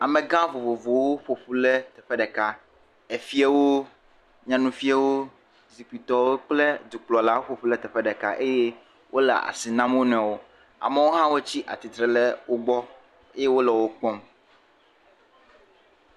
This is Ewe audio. Amega vovovowo ƒoƒu le teƒɛ ɖeka. Efiewo, nyanufiawo, zikpuitɔwo kple dukplɔlawo ƒoƒu le teƒe ɖeka eye wole asi na wonɔewo. Amɔwo hã tsi atitre le wo gbɔ eye wole wo kpɔm.